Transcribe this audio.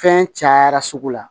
Fɛn cayara sugu la